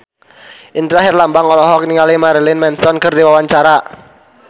Indra Herlambang olohok ningali Marilyn Manson keur diwawancara